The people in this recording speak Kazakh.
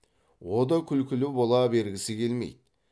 о да күлкілі бола бергісі келмейді